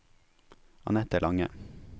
Annette Lange